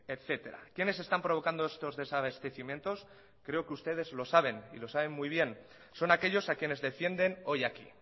etcétera quiénes están provocando estos desabastecimientos creo que ustedes lo saben y lo saben muy bien son aquellos a quienes defienden hoy aquí